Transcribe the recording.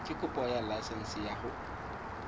kopo ya laesense ya go